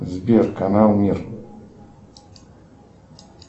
сбер канал мир